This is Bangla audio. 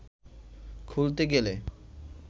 খুলতে গেলে